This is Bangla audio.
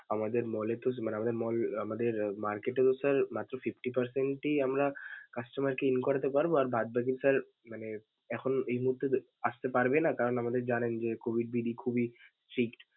আমাদের mall এ তো মানে আমাদের mall আমাদের market এও sir মাত্র fifty percent এ আমরা customer কে in করাতে পারবো আর বাদ বাকি sir মানে এখন এই মুহূর্তে দে~ আসতে পারবে না. কারণ আমাদের জানেন যে COVID বিধি খুবই strict ।